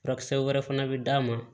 Furakisɛ wɛrɛ fana bɛ d'a ma